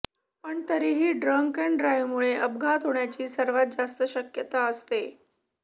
पण तरीही drunk and ड्राइव्हमुळे अपघात होण्याची सर्वात जास्त शक्यता असते